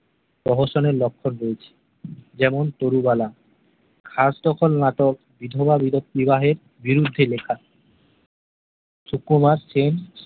প্রহসনের লক্ষ্মণ রয়েছে যেমন তরুবালা খাসদ্খল নাটক বিধবা বিব বিবাহের বিরুদ্ধে লেখা সুকুমার